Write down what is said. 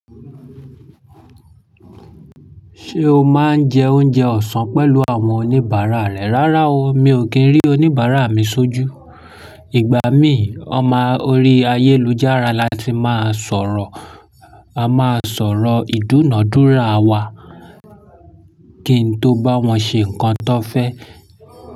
Ṣé o máa ń jẹ oúnjẹ ọ̀sán pẹ̀lú àwọn oníbàárà rẹ? Rárá o, mi ò kí ń rí oníbàárà mi sójú. Ìgbà mí, ọmọ orí ayélujára la ti máa sọ̀rọ̀. A máa sọ̀rọ̀ ìdúnadúrà wa kí n tó bá wọn ṣe ǹkan tan fẹ́